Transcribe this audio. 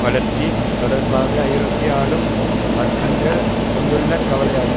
வளர்ச்சி தொடர்பாக ஐரோப்பிய ஆளும் வர்க்கங்கள் கொண்டுள்ள கவலையாகும்